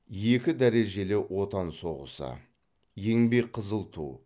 екі дәрежелі отан соғысы еңбек қызыл ту